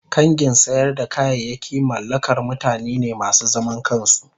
kangin sayar da kayayaki mallakar mutane ne masu zaman kansu.